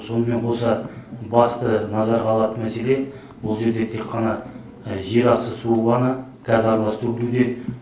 сонымен қоса басты назарға алатын мәселе ол жерде тек қана жерасты суы ғана газаралас төгілуде